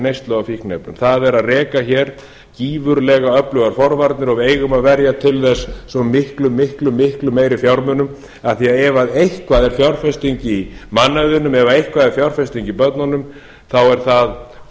neyslu á fíkniefnum það er að reka hér gífurlega öflugar forvarnir og við eigum að verja til þess svo miklu miklu meiri fjármunum af því ef eitthvað er fjárfesting í mannauðnum ef eitthvað er fjárfesting í börnunum þá eru það